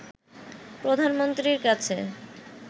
প্রধানমন্ত্রীর কাছে